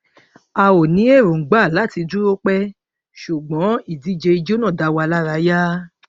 a ò ní erongba láti dúró pẹ ṣùgbọn ìdíje ijó náà dáwa lárayá